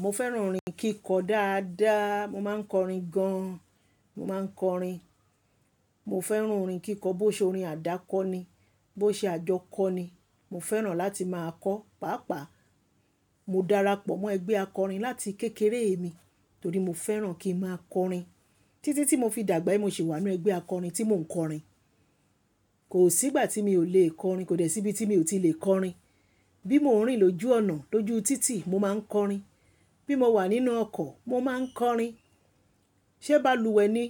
Mo fẹ́ràn orin kíkọ dáadáa. Mo máa ń kọrin gan an. Mo máa ń kọrin. Mo fẹ́ràn orin kíkọ, bó ṣe orin àdákọ ni, bó ṣe àjọkọ ni, mo fẹ́ràn láti máa kọọ́. Pàápàá mo darapọ̀ mọ́ ẹgbẹ́ akọrin láti kékeré mi, torí mo fẹ́ràn kí ń máa kọrin. Títí tí mo fi dàgbà yìí mo ṣì wá ńnú ẹgbẹ́ akọrin tí mò ń kọrin. Kò sígbà tí mi ò le kọrin. Kò dẹ̀ síbi tí mi ò ti lè kọrin. Bí mò ń rìn lójú ọ̀nà, lójú títì, mo máa ń kọrin. Bí mo wà nínú ọkọ̀, mo máa ń kọrin. Ṣé balùwẹ̀ ni,